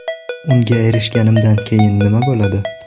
Unga erishganimdan keyin nima bo‘ladi?